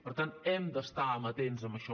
per tant hem d’estar amatents en això